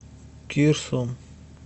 кирсом